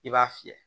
I b'a fiyɛ